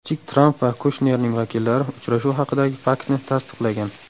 Kichik Tramp va Kushnerning vakillari uchrashuv haqidagi faktni tasdiqlagan.